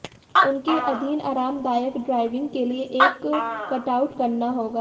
उनके अधीन आरामदायक ड्राइविंग के लिए एक कटआउट करना होगा